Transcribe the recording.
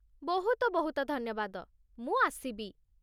ବହୁତ ବହୁତ ଧନ୍ୟବାଦ, ମୁଁ ଆସିବି!